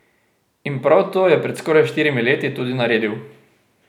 In prav to je pred skoraj štirimi leti tudi naredil.